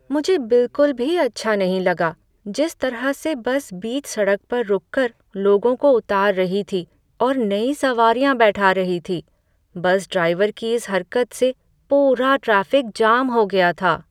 मुझे बिलकुल भी अच्छा नहीं लगा जिस तरह से बस बीच सड़क पर रुककर लोगों को उतार रही थी और नई सवारियां बैठा रही थी। बस ड्राइवर की इस हरकत से पूरा ट्रैफिक जाम हो गया था।